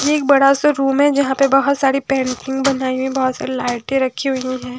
ये एक बड़ा सा रूम है जहाँ पे बहुत सारी पेंटिंग बनाई हुई है बहुत सारी लाइटें रखी हुई हैं।